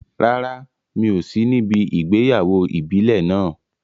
Rárá, mi ò sí níbi ìgbéyàwó ìbílẹ̀ náà.